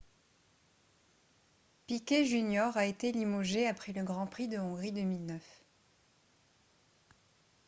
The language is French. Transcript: piquet jr a été limogé après le grand prix de hongrie 2009